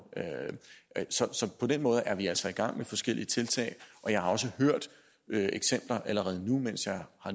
så på den måde er vi altså i gang med forskellige tiltag jeg har allerede nu